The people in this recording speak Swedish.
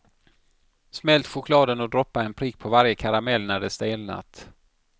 Smält chokladen och droppa en prick på varje karamell när de stelnat.